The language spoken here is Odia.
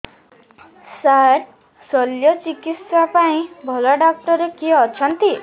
ସାର ଶଲ୍ୟଚିକିତ୍ସା ପାଇଁ ଭଲ ଡକ୍ଟର କିଏ ଅଛନ୍ତି